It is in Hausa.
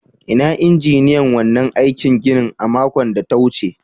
Inna injiniyan wannan aikin ginin a makon da ta wuce?